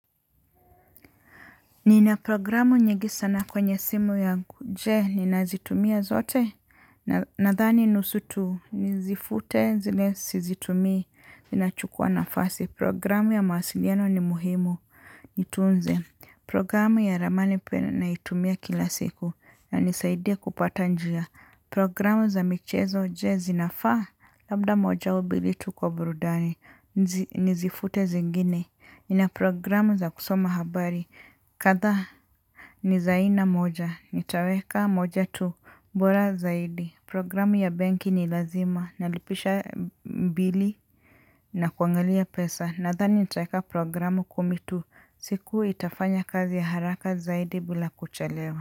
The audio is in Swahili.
Nina programu nyingi sana kwenye simu ya kuje ni nazitumia zote nadhani nusu tu nizifute zile sizitumii zinachukua nafasi. Programu ya mawasiliano ni muhimu nitunze. Programu ya ramani pia naitumia kila siku na nisaidia kupata njia. Programu za michezo je zinafaa labda moja ubilitu kwa brudani nizifute zingine. Nina programu za kusoma habari. Kadhaa ni za aina moja. Nitaweka moja tu bora zaidi. Programu ya benki ni lazima. Nalipisha mbili na kuangalia pesa. Nadhani nitaweka programu kumi tu. Siku itafanya kazi ya haraka zaidi bila kuchelewa.